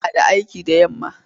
Muna da aiki da yamma.